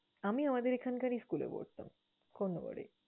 আমি আমাদের এখানকারই school এ পড়তাম, কোন্ননগরে।